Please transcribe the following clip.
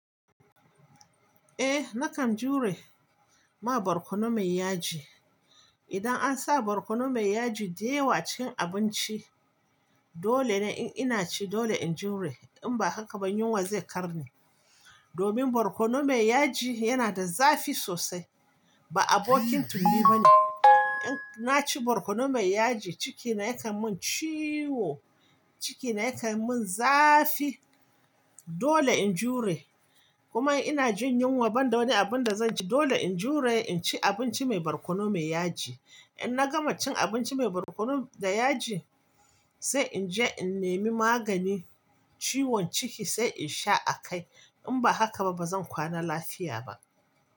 Eh na kan jure ma barkono mai yaji. Idan an sa barkono mai yaji da yawa a cikin abinci, dole ne in ina ci dole in jure in ba haka ba yunwa zai kar ni. Domin barkono mai yaji yana da zafi sosai ba abokin tulli ba ne. In na ci barkono mai yaji cikina yakan mun ciwo, cikina yakan mun zafi dole in jure. Kuma ina jin yunwa banda wani abin da zan ci dole in jure in ci abinci mai barkono mai yaji. In na gama cin abinci mai barkono da yaji sai in je in nemi maganin ciwon ciki sai in sha a kai. In ba haka ba bazan kwana lafiya ba.